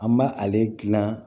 An b' ale dilan